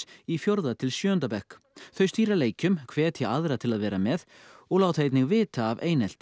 í fjórða til sjöunda bekk þau stýra leikjum hvetja aðra til að vera með og láta einnig vita af einelti